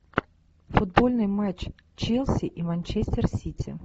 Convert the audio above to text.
футбольный матч челси и манчестер сити